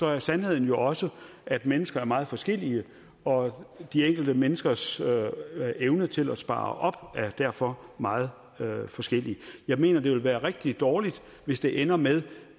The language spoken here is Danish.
er sandheden jo også at mennesker er meget forskellige og de enkelte menneskers evne til at spare op er derfor meget forskellig jeg mener det vil være rigtig dårligt hvis det ender med